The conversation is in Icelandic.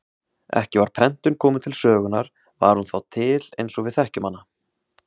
Ekki var prentun kominn til sögunar var hún þá til eins og við þekkjum hana.